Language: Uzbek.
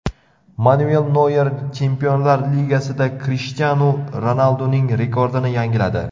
Manuel Noyer Chempionlar Ligasida Krishtianu Ronalduning rekordini yangiladi.